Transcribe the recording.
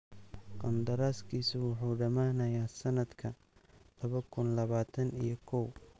Qandaraaskiisu wuxuu dhamaanayaa sanadka laba kuun labatan iyo koow.